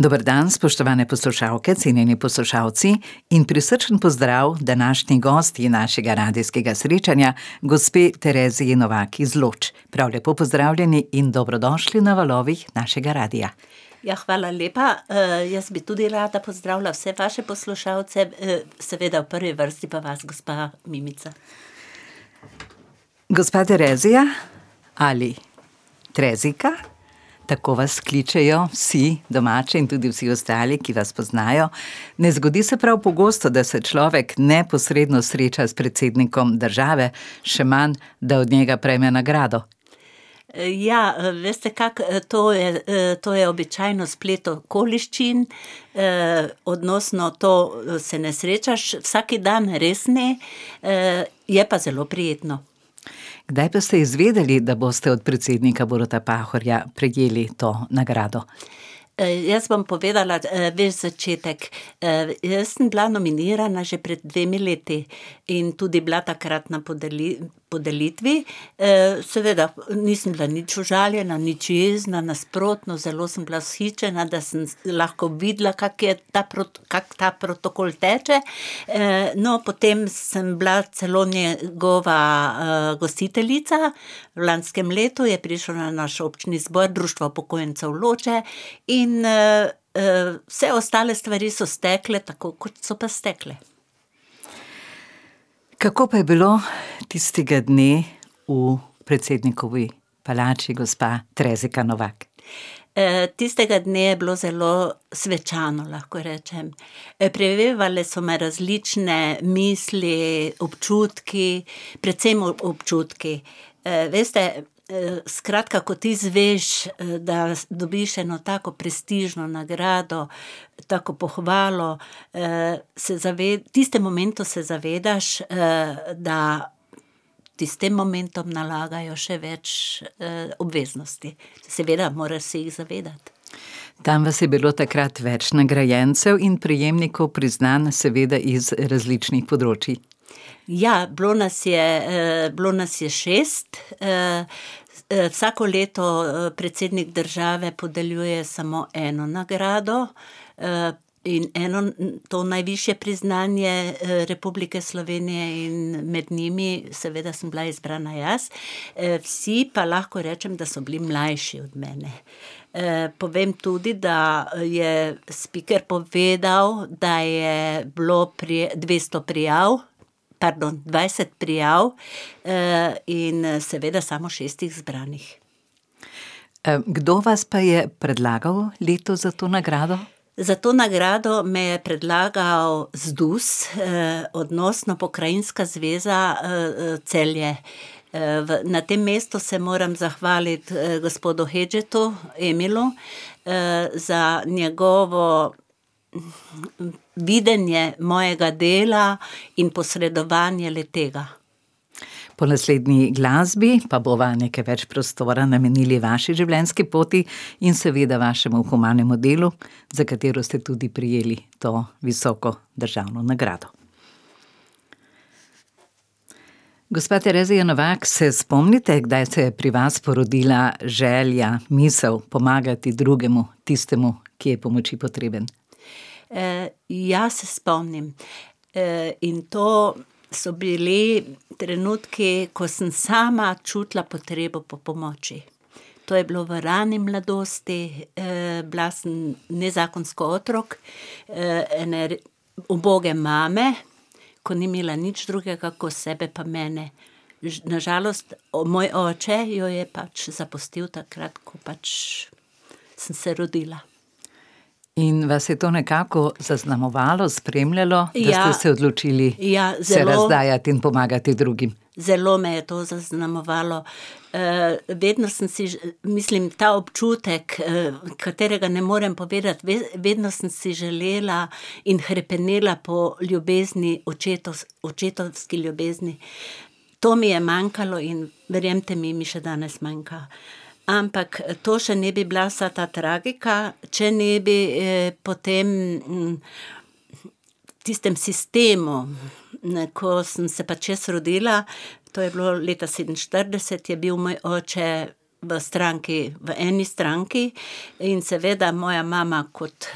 Dober dan, spoštovane poslušalke, cenjeni poslušalci in prisrčen pozdrav današnji gostji našega radijskega srečanja, gospe Tereziji Novak iz Loč. Prav lepo pozdravljeni in dobrodošli na valovih našega radia. Ja, hvala lepa. jaz bi tudi rada pozdravila vse vaše poslušalce, seveda v prvi vrsti pa vas, gospa Mimica. Gospa Terezija ali Trezika, tako vas kličejo vsi domači in tudi vsi ostali, ki vas poznajo . Ne zgodi se pravi pogosto, da se človek neposredno sreča s predsednikom države, še manj, da od njega prejme nagrado. ja, veste, kako, to je, to je običajno splet okoliščin. odnosno to, se ne srečaš vsak dan, res ne. je pa zelo prijetno. Kdaj pa ste izvedeli, da boste od predsednika Boruta Pahorja prejeli to nagrado? jaz bom povedala, ves začetek. jaz sem bila nominirana že pred dvema letoma in tudi bila takrat na podelitvi, seveda nisem bila nič užaljena, nič jezna, nasprotno, zelo sem bila vzhičena, da sem lahko videla, kako je ta kako ta protokol teče. no, potem sem bila celo njegova, gostiteljica, v lanskem letu je prišel na naš občni zbor Društvo upokojencev Loče in, vse ostale stvari so stekle, tako kot so pa stekle. Kako pa je bilo tistega dne v predsednikovi palači, gospa Trezika Novak? tistega dne je bilo zelo svečano, lahko rečem. prevevale so me različne misli, občutki, predvsem občutki. veste, skratka, ko ti izveš, da dobiš eno tako prestižno nagrado, tako pohvalo, se v tistem momentu se zavedaš, da ti s tem momentom nalagajo še več, obveznosti. Seveda moraš se jih zavedati. Tam vas je bilo takrat več nagrajencev in prejemnikov priznanj, seveda iz različnih področij. Ja, bilo nas je, bilo nas je šest, vsako leto, predsednik države podeljuje samo eno nagrado, in eno, to najvišje priznanje Republike Slovenije, in med njimi seveda sem bila izbrana jaz. vsi pa lahko rečem, da so bili mlajši od mene. povem tudi, da, je spiker povedal, da je bilo dvesto prijav, pardon, dvajset prijav, in, seveda samo šest izbranih. kdo vas pa je predlagal letos za to nagrado? Za to nagrado me je predlagal ZDUS, odnosno Pokrajinska zveza, Celje. v, na tem mestu se moram zahvaliti, gospodu Hedžetu Emilu, za njegovo videnje mojega dela in posredovanje le-tega. Po naslednji glasbi pa bova nekaj več prostora namenili vaši življenjski poti in seveda vašemu humanemu delu, za katero ste tudi prejeli to visoko državno nagrado. Gospa Terezija Novak, se spomnite, kdaj se je pri vas porodila želja, misel pomagati drugemu, tistim, ki je pomoči potreben? ja, se spomnim. in to so bili trenutku, ko sem sama čutila potrebo po pomoči. To je bilo v rani mladosti, bila sem nezakonski otrok, uboge mame, ko ni imela nič drugega kot sebe pa mene. na žalost moj oče jo je pač zapustil takrat, ko pač sem se rodila. In vas je to nekako zaznamovalo? Spremljalo? Da ste se določili se razdajati in pomagati drugim. Ja. Ja, zelo. Zelo me je to zaznamovalo. vedno sem si ... Mislim ta občutek, v katerega, ne morem povedati vedno sem si želela in hrepenela po ljubezni očetovski ljubezni. To mi je manjkalo in verjemite mi, mi še danes manjka. Ampak to še ne bi bila vsa ta tragika, če ne bi, potem, v tistem sistemu, ne, ko sem se pač jaz rodila, to je bilo leta sedeminštirideset je bil moj oče v stranki, v eni stranki in seveda moja mama kot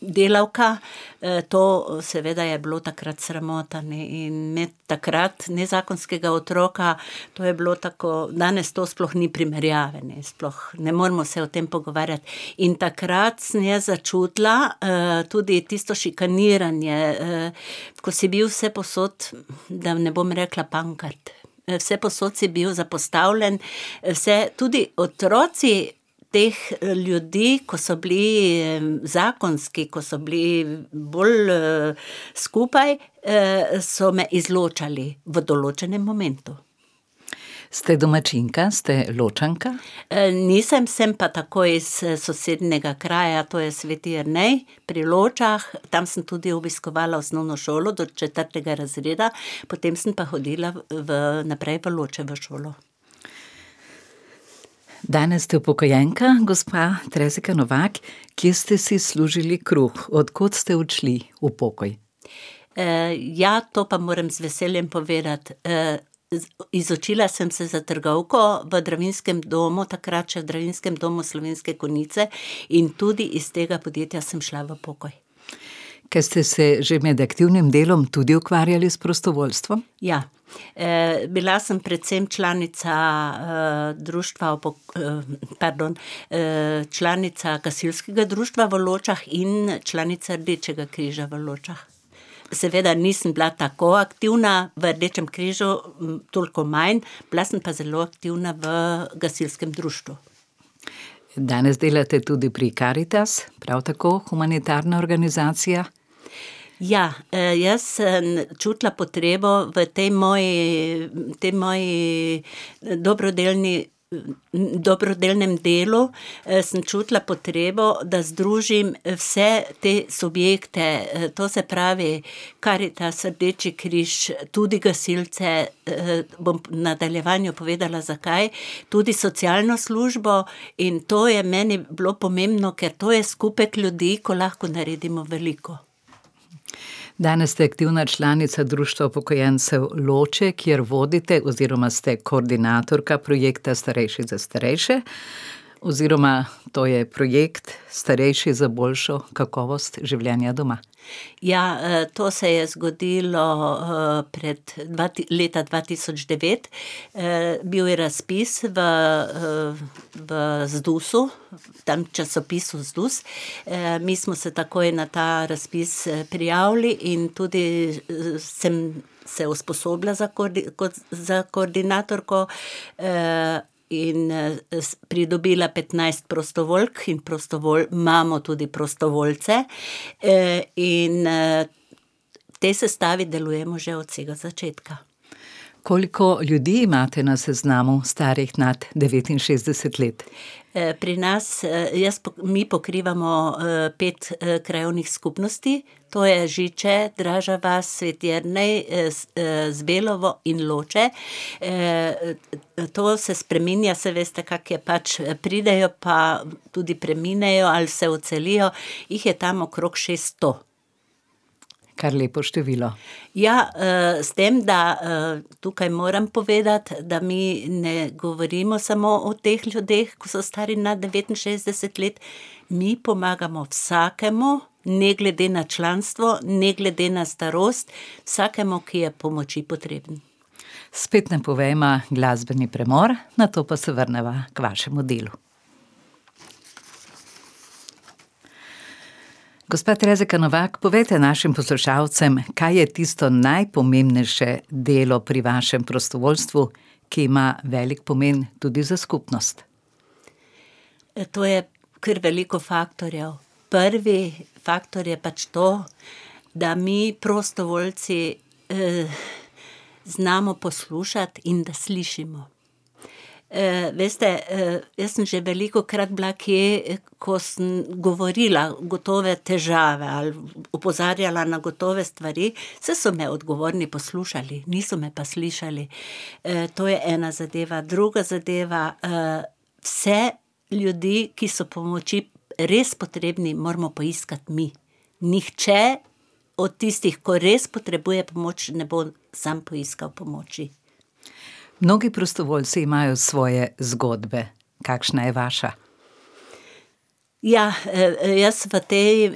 delavka, to seveda je bilo takrat sramota, ne, in imeti takrat nezakonskega otroka, to je bilo tako, danes to sploh ni primerjave, ne, sploh, ne moremo se o tem pogovarjati. In takrat sem jaz začutila, tudi tisto šikaniranje, ko si bil vsepovsod, da ne bom rekla pankrt. vsepovsod si bil zapostavljen, vse tudi otroci teh ljudi, ko so bili zakonski, ko so bili bolj, skupaj, so me izločali v določenem momentu. Ste domačinka, ste Ločanka? nisem, sem pa takoj s sosednjega kraja, to je Sveti Jernej pri Ločah. Tam sem tudi obiskovala osnovno šolo do četrtega razreda, potem sem pa hodila v naprej v Loče v šolo. Danes ste upokojenka, gospa Terezika Novak, kje ste si služili kruh? Od kod ste odšli v pokoj? ja, to pa moram z veseljem povedati, z, izučila sem se za trgovko v Drevinskem domu, takrat še Drevinskem domu Slovenske Konjice, in tudi iz tega podjetja sem šla v pokoj. Ko ste se že med aktivnim delom tudi ukvarjali s prostovoljstvom? Ja. bila sem predvsem članica, Društva pardon, članica gasilskega društva v Ločah in članica Rdečega križa v Ločah. Seveda nisem bila tako aktivna v Rdečem križu, toliko manj, bila sem pa zelo aktivna v gasilskem društvu. Danes delate tudi pri Karitas, prav tako humanitarna organizacija. Ja, jaz sem čutila potrebo v tej moji, tej moji dobrodelni, dobrodelnem delu, sem čutila potrebo, da združim, vse te subjekte, to se pravi Karitas, Rdeči križ, tudi gasilce, bom v nadaljevanju povedala, zakaj. Tudi socialno službo in to je meni bilo pomembno, ker to je skupek ljudi, ko lahko naredimo veliko. Danes ste aktivna članica Društva upokojencev Loče, kjer vodite oziroma ste koordinatorka projekta Starejši za starejše. Oziroma to je projekt Starejši za boljšo kakovost življenja doma. Ja, to se je zgodilo, pred leta dva tisoč devet, bil je razpis v, v ZDUS-u, tam časopisu ZDUS, mi smo se takoj na ta razpis prijavili in tudi, sem se usposobila za za koordinatorko, in, s pridobila petnajst prostovoljk in imamo tudi prostovoljce. in, v tej sestavi delujemo že od vsega začetka. Koliko ljudi imate na seznamu, starih nad devetinšestdeset let? pri nas, jaz mi pokrivamo, pet, krajevnih skupnosti, to je Žiče, Draža vas, Sveti Jernej, Zbelovo in Loče, to se spreminja, saj veste, kako je pač, pridejo pa tudi preminejo ali se odselijo, jih je tam okrog še sto. Kar lepo število. Ja, s tem, da, tukaj moram povedati, da mi ne govorimo samo o teh ljudeh, ko so stari nad devetinšestdeset let, mi pomagamo vsakemu, ne glede na članstvo, ne glede na starost. Vsakemu, ki je pomoči potreben. Spet napovejva glasbeni premor, nato pa se vrneva k vašemu delu. Gospa Terezika Novak, povejte našim poslušalcem, kaj je tisto najpomembnejše delo pri vašem prostovoljstvu, ki ima velik pomen tudi za skupnost. to je kar veliko faktorjev. Prvi faktor je pač to, da mi prostovoljci, znamo poslušati in da slišimo. veste, jaz sem že velikokrat bila kje, ko sem govorila gotove težave ali opozarjala na gotove stvari. Saj so me odgovorni poslušali, niso me pa slišali. to je ena zadeva, druga zadeva, vse ljudi, ki so pomoči res potrebni, moramo poiskati mi. Nihče od tistih, ki res potrebuje pomoč, ne bo sam poiskal pomoči. Mnogi prostovoljci imajo svoje zgodbe. Kakšna je vaša? Ja, jaz v tej,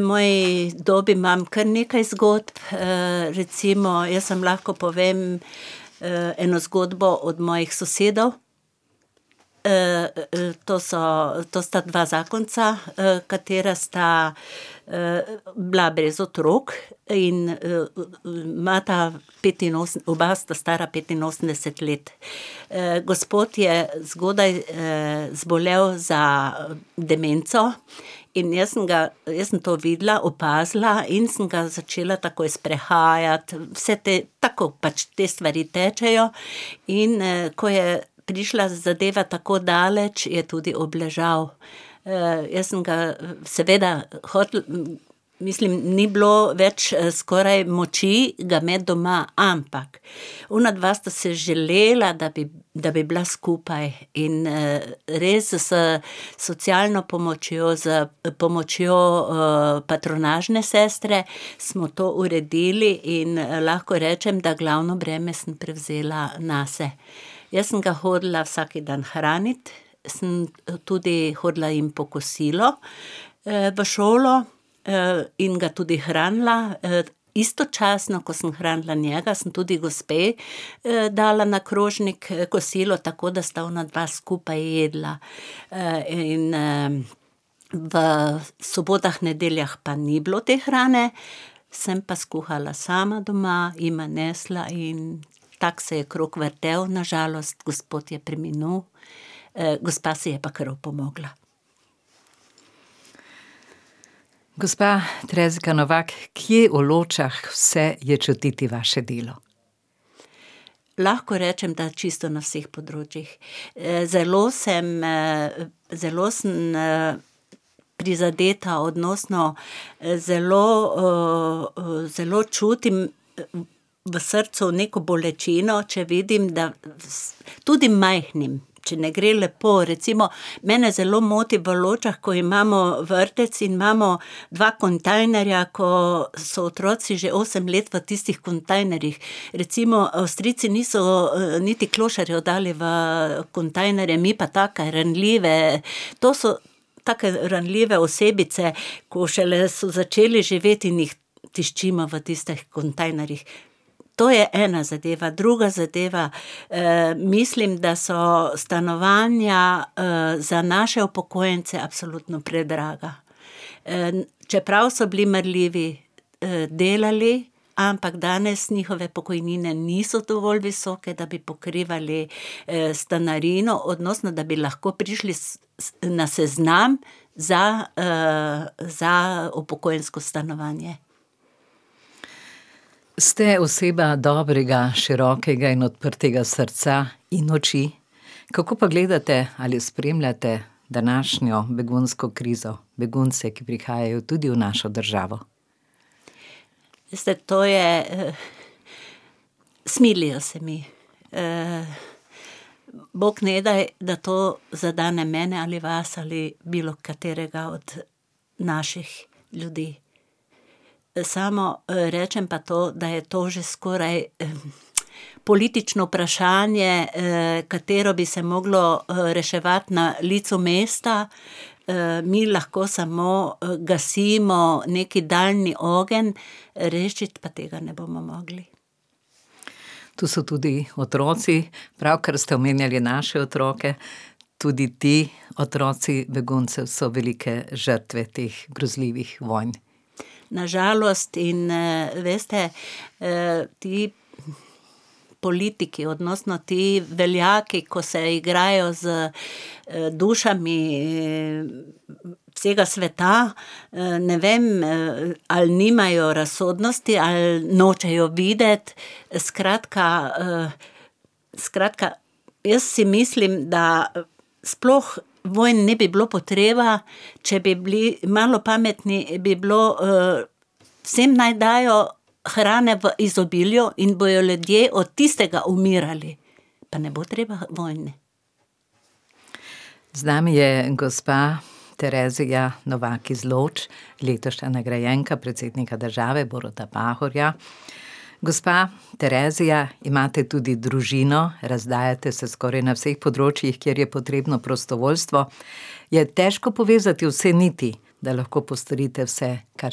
moji dobi imam kar nekaj zgodb, recimo, jaz vam lahko povem, eno zgodbo od mojih sosedov, to so, to sta dva zakonca, katera sta, bila brez otrok in, imata oba sta stara petinosemdeset let gospod je zgodaj, zbolel za demenco in jaz sem ga, jaz sem to videla, opazila in sem ga začela takoj sprehajati, vse te, tako pač te stvari tečejo. In, ko je prišla zadeva tako daleč, je tudi obležal. jaz sem ga seveda hotela, mislim ni bilo več, skoraj moči ga imeti doma, ampak onadva sta si želela, da bi, da bi bila skupaj in, res s socialno pomočjo, s pomočjo, patronažne sestre smo to uredili in lahko rečem, da glavno breme sem prevzela nase. Jaz sem ga hodila vsak dan hranit, sem tudi hodila jim po kosilo, v šolo. in ga tudi hranila, istočasno, ko sem hranila njega, sem tudi gospe, dala na krožnik kosilo, tako da sta onadva skupaj jedla. in, v sobotah, nedeljah pa ni bilo te hrane. Sem pa skuhala sama doma, jima nesla in tako se je krog vrtel na žalost, gospod je preminil, gospa si je pa kar opomogla. Gospa Terezika Novak, kje v Ločah vse je čutiti vaše delo? Lahko rečem, da čisto na vseh področjih. zelo sem, zelo sem, prizadeta odnosno, zelo, zelo čutim v srcu neko bolečino, če vidim, da tudi majhnim, če ne gre lepo, recimo mene zelo moti v Ločah, ko imamo vrtec in imamo dva kontejnerja, ko so otroci že osem let v tistih kontejnerjih. Recimo Avstrijci niso, niti klošarjev dali v kontejnerje, mi pa take ranljive, to so take ranljive osebice, ko šele so začeli živeti in jih tiščimo v tistih kontejnerjih. To je ena zadeva, druga zadeva, mislim, da so stanovanja, za naše upokojence absolutno predraga, čeprav so bili marljivi, delali, ampak danes njihove pokojnine niso dovolj visoke, da bi pokrivali, stanarino, odnosno, da bi lahko prišli na seznam za, za upokojensko stanovanje. Ste oseba dobrega, širokega in odprtega srca in oči. Kako pa gledate ali spremljate današnjo begunsko krizo? Begunce, ki prihajajo tudi v našo državo? Veste to je, smilijo se mi. bog ne daj, da to zadane mene, ali vas ali bilo katerega od naših ljudi. samo, rečem pa to, da je to že skoraj politično vprašanje, katero bi se moglo, reševati na licu mesta, mi lahko samo gasimo neki daljni ogenj, rešiti pa tega ne bomo mogli. Tu so tudi otroci, pravkar ste omenjali naše otroke, tudi ti otroci beguncev so velike žrtve teh grozljivih vojn. Na žalost in, veste, ti politiki, odnosno ti veljaki, ko se igrajo z, dušami, vsega sveta, ne vem, ali nimajo razsodnosti ali nočejo videti, skratka, skratka, jaz si mislim, da sploh vojn ne bi bilo potreba, če bi bili malo pametni, bi bilo, vsem naj dajo hrane v izobilju in bojo ljudje od tistega umirali. Pa ne bo treba vojne. Z nami je gospa Terezija Novak iz Loč, letošnja nagrajenega predsednika države, Boruta Pahorja. Gospa Terezija, imate tudi družino. Razdajate se skoraj na vseh področjih, kjer je potrebno prostovoljstvo. Je težko povezati vse niti, da lahko postorite vse, kar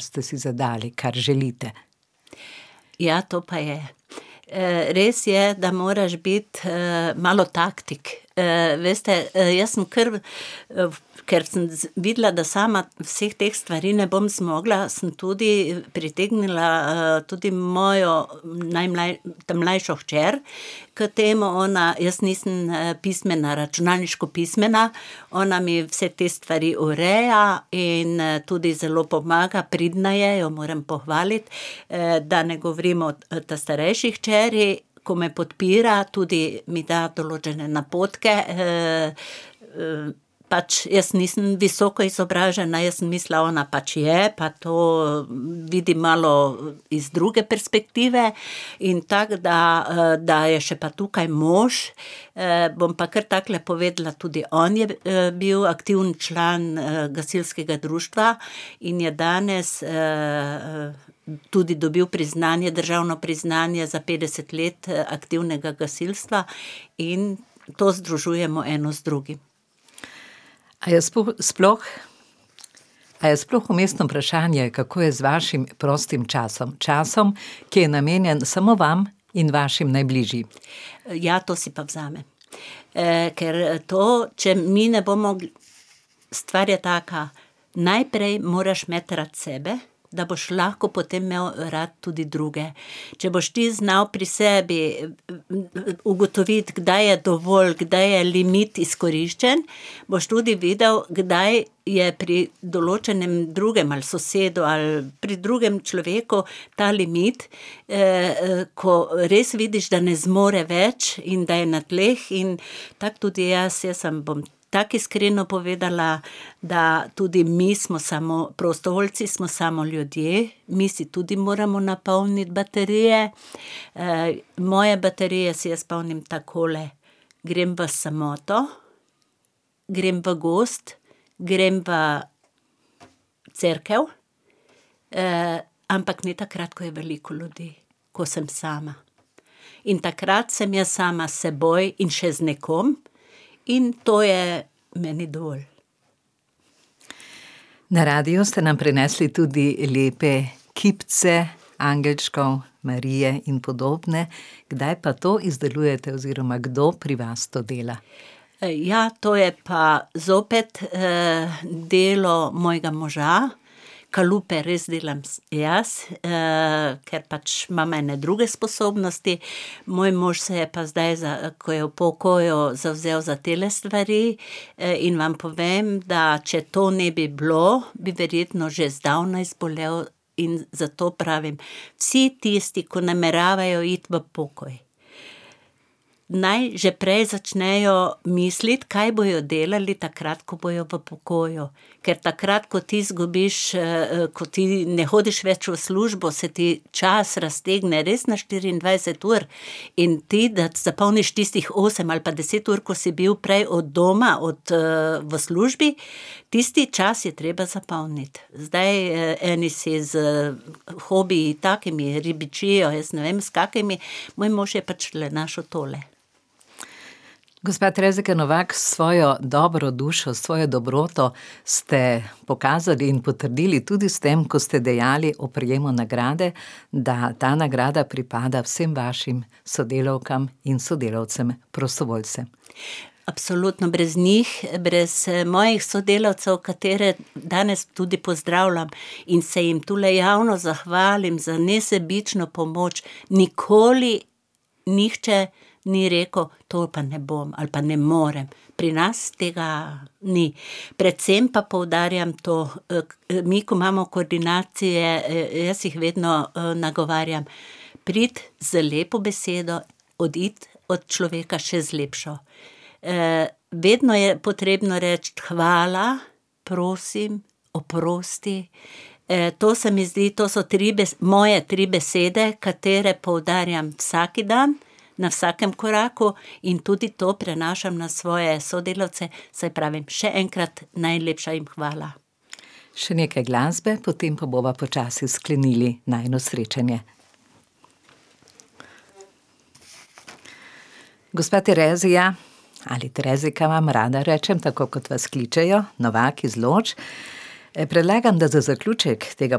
ste si zadali, kar želite? Ja, to pa je. res je, da moraš biti, malo taktik. veste, jaz sem kar v ker sem videla, da sama vseh teh stvari ne bom zmogla, sem tudi pritegnila, tudi mojo ta mlajšo hčer k temu ona, jaz nisem, pismena, računalniško pismena, ona mi vse te stvari ureja in, tudi zelo pomaga, pridna je, jo moram pohvaliti. da ne govorim o ta starejši hčeri, ko me podpira, tudi mi da določene napotke, pač jaz nisem visoko izobražena, jaz sem mislila, ona pač je pa to vidi malo iz druge perspektive in tako da, da je pa še tukaj mož, bom pa kar takole povedala, tudi on je, bil aktiven član, gasilskega društva in je danes, tudi dobil priznanje, državno priznanje za petdeset let aktivnega gasilstva in to združujemo eno z drugim. A je sploh, a je sploh vmesno vprašanje, kako je z vašim prostim časom? Časom, ki je namenjen samo vam in vašim najbližjim. ja to pa si vzamem. ker to, če mi ne bomo ... Stvar je taka, najprej moraš imeti rad sebe, da boš lahko potem imel rad tudi druge. Če boš ti znal pri sebi ugotoviti, kdaj je dovolj, kdaj je limit izkoriščen, boš tudi videl, kdaj je pri določenem drugem ali sosedu ali pri drugem človeku ta limit, ko res vidiš, da ne zmore več in da je na tleh in tako tudi jaz, jaz vam bom tako iskreno povedala, da tudi mi smo samo prostovoljci, smo samo ljudje, mi si tudi moramo napolniti baterije. moje baterije si jaz polnim takole, grem v samoto, grem v gozd, grem v cerkev. ampak ne takrat, ko je veliko ljudi. Ko sem sama, in takrat sem jaz sama s seboj in še z nekom in to je meni dovolj. Na radio ste nam prinesli tudi lepe kipce angelčkov, Marije in podobne. Kdaj pa to izdelujete oziroma kdo pri vas to dela? ja, to je pa zopet, delo mojega moža. Kalupe res delam jaz, ker pač imam ene druge sposobnosti, moj mož se je pa zdaj ko je v pokoju, zavzel za tele stvari, in vam povem, da če to ne bi bilo, bi verjetno že zdavnaj zbolel in zato pravim: "Vsi tisti, ki nameravajo iti v pokoj, naj že prej začnejo misliti, kaj bojo delali, takrat ko bojo v pokoju." Ker takrat, ko ti zgubiš, ko ti ne hodiš več v službo, se ti čas raztegne res na štiriindvajset ur in ti, da zapolniš tistih osem ali pa deset ur, ko si bil prej od doma, od v službi, tisti čas je treba zapolniti. Zdaj, eni si s hobiji takimi, ribičijo, jaz ne vem s kakimi, moj mož je pač le našel tole. Gospa Terezika Novak, s svojo dobro dušo, s svojo dobroto ste pokazali in potrdili tudi s tem, ko ste dejali o prejemu nagrade, da ta nagrada pripada vsem vašim sodelavkam in sodelavcem prostovoljcem. Absolutno, brez njih, brez mojih sodelavcev, katere danes tudi pozdravljam in se jim tule javno zahvalim za nesebično pomoč, nikoli, nihče ni rekel, to pa ne bom ali pa ne morem. Pri nas tega ni, predvsem pa poudarjam to, mi, ko imamo koordinacije, jaz jih vedno, nagovarjam: "Pridi z lepo besedo, odidi od človeka še z lepšo." vedno je potrebno reči hvala, prosim, oprosti, to se mi zdi, to so tri moje tri besede, katere poudarjam vsak dan, na vsakem koraku, in tudi to prenašam na svoje sodelavce, saj pravim, še enkrat najlepša jim hvala. Še nekaj glasbe, potem pa bova počasi sklenili najino srečanje. Gospa Terezija ali Terezika, vam rada rečem, tako kot vas kličejo, Novak iz Loč. predlagam, da za zaključek tega